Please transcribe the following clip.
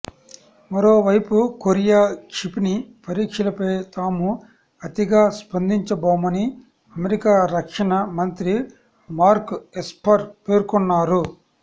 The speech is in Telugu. మరోవైపు కొరియా క్షిపణి పరీక్షలపై తాము అతిగా స్పందించబోమని అమెరికా రక్షణ మంత్రి మార్క్ ఎస్పర్ పేర్కొన్నారు